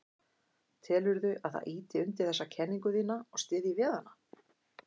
Telurðu að það ýti undir þessa kenningu þína og styðji við hana?